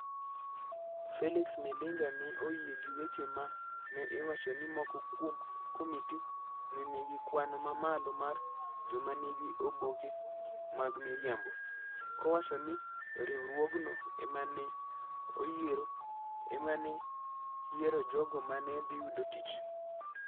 Felix Milinga ne oyie gi weche ma ne iwacho ni moko kuom Komiti ne nigi kwan mamalo mar joma nigi oboke mag miriambo, kowacho ni riwruogno ema ne yiero jogo ma ne dhi yudo tich.